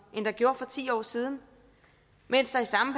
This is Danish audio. end der blev for ti år siden mens der i samme